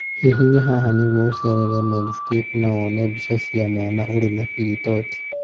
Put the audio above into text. Hihinya haha nĩguo ũceerere Medscape na wone mbica ya mwana ũrĩ na pili torti.